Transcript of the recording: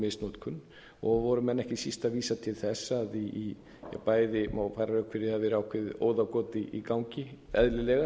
misnotkun og voru menn ekki síst að vísa til þess að í bæði og má færa rök fyrir því að ákveðið óðagot í gangi eðlilega